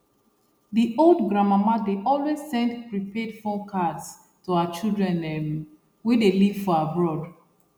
the old grandmama dey always send prepaid phone cards to her children um wey dey leave for abroad